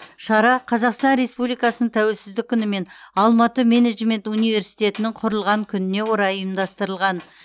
шара қазақстан республикасының тәуелсіздік күні мен алматы менеджмент университетінің құрылған күніне орай ұйымдастырылған